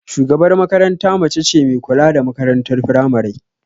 Shugabar makaranta mace ce me kula da makarantar firamari